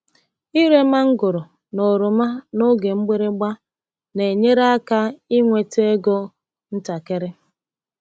Ire mangoro na oroma n’oge mgbịrịgba na-enyere aka ị nweta ego ntakịrị.